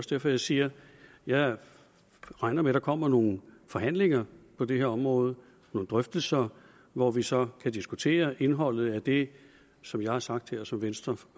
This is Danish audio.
derfor jeg siger at jeg regner med der kommer nogle forhandlinger på det her område nogle drøftelser hvor vi så kan diskutere indholdet af det som jeg har sagt her og som venstre